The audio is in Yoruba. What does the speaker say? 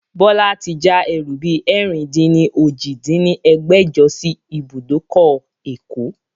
Bọlá tí já ẹrú bi ẹ̀rin-dín-ní-ojì dín ní ẹgbẹ́jọ sí ibùdókọ̀ ẹ̀kọ́